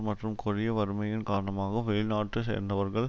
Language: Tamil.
மற்றும் கொடிய வறுமையின் காரணமாக வெளிநாட்டு சேர்ந்தவர்கள்